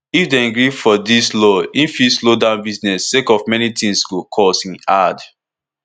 if dem gree for dis law e fit slow down business sake of many tins go cost e add